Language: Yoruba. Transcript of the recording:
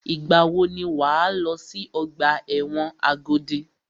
Ìgbà wò ni wà á lọ sí ọgbà ẹ̀wọ̀n Agodi?